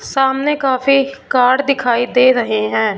सामने काफी कार दिखाई दे रहे हैं।